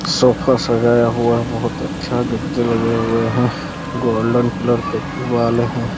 Sofa सजाया हुआ बहत अच्छा गद्दे लगे हुए हैं गोल्डन कलर के दीवार हैं ।